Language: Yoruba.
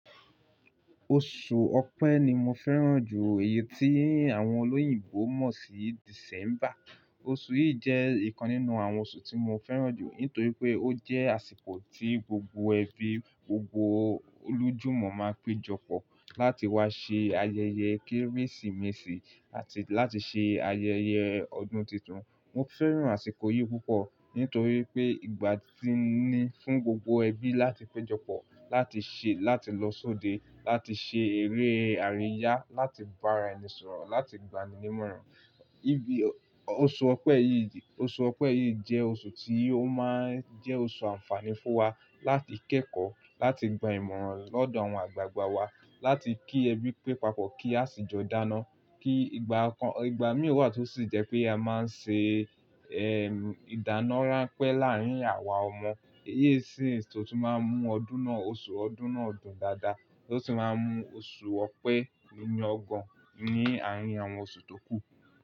Oṣù Ọpẹ́ ni mo fẹ́ràn jù, èyí tí àwọn olóyìnbo mọ̀ sí December. Oṣù yìí jẹ́ ìkan nínú àwọn oṣù tí mo fẹ́ràn jù, nítorí pé ó jẹ́ àsìkò tí gbogbo ẹbí, gbogbo olójúmọ̀ máa péjọpọ̀ láti wá ṣe ayẹyẹ Kérésìmesì àti láti ṣe ayẹyẹ ọdún titun. Mo fẹ́ràn àsìkò yìí púpọ̀ nítorí pé ìgbà tí ní fún gbogbo ẹbí láti péjọpọ̀, láti ṣe, láti lọ sóde, láti ṣe eré àríyá, láti bára ẹni sọ̀rọ̀, láti gbani nímọ̀ràn. Ibi-- oṣù Ọpẹ́ yìí, oṣù Ọpẹ́ yìí jẹ́ oṣù tí ó máa ń jẹ́ oṣù ànfààní fún wa láti kẹ́kọ̀ọ́, láti gba ìmọ̀ràn lọ́dọ̀ àwọn àgbàgbà wa, láti kí ẹbí pé pa pọ̀, kí àṣìjọ dáná, kí ìgbà kan, ìgbà mí wà tó sì jẹ́ pé a máa ń ṣe, eh, ìdáná ránpẹ́ láàárín àwa ọmọ. Èyí sì ni tó ti máa ń mú ọdún náà, oṣù ọdún náà dùn dáadáa, tó sì máa ń mú oṣù Ọpẹ́ nílo kannínú àárín àwọn oṣù tó kù.